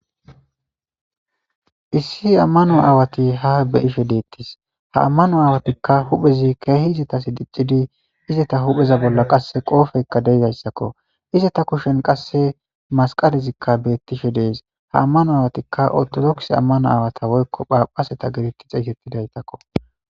issi ammano aawati ha beyishe deettis ha ammano awatikka huphezi keehi izatasi diccidi izata hupheza bolla qasse qoofeyka deeidayssakko iza ta kushen qasse masqalizikka beettishe dees ha ammano awatikka ortodoks ammano aawata woykko phaphaseta gediti xeeysettidaytakko